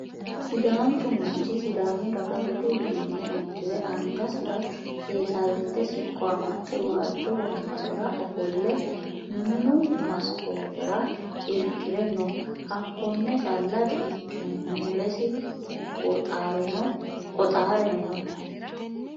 Sidaanchu manchi Sidaamu dagaha budu uduunne uddire angasi'ra seesallitte siqqo amaxxe waajjo wombarera ofolle Minu Maskoote'ra irki're no: Hakkonne calla di ikkino mules qoxaareno no.